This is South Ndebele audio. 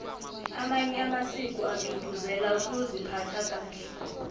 amanye amasiko agcugcuzela ukuziphatha kahle